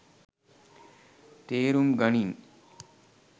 තේරුම් ගනින්.